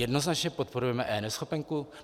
Jednoznačně podporujeme eNeschopenku.